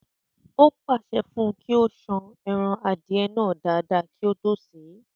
O pàṣẹ fún un kí ó san ẹran Adìẹ náà dáadáa kí ó tó sè é